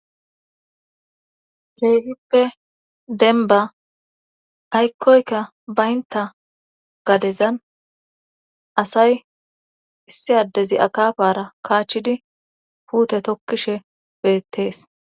Feegippe denba aykkoyka baynta gadezan asay issi addezi akafara kaachchidi puute tokkishe beettees